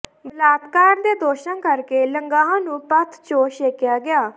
ਬਲਾਤਕਾਰ ਦੇ ਦੋਸ਼ਾਂ ਕਰਕੇ ਲੰਗਾਹ ਨੂੰ ਪੰਥ ਚੋਂ ਛੇਕਿਆ ਗਿਆ